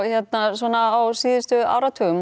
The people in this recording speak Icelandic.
svona á síðustu áratugum